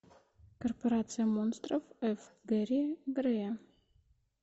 корпорация монстров ф гэри грея